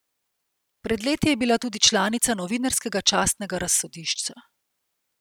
Pred leti je bila tudi članica Novinarskega častnega razsodišča.